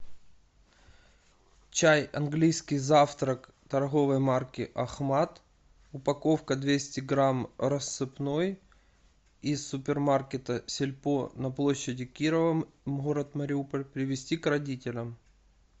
чай английский завтрак торговой марки ахмад упаковка двести грамм рассыпной из супермаркета сельпо на площади кирова город мариуполь привезти к родителям